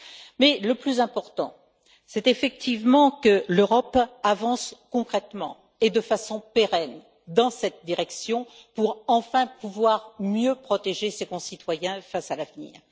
Mais le plus important, c'est, effectivement, que l'Europe avance concrètement et de façon pérenne dans cette direction, pour enfin pouvoir mieux protéger ses concitoyens face à l'avenir.